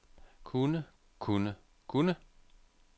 kunne kunne kunne